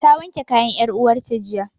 Ta wanke kayan 'yar uwarta jiya.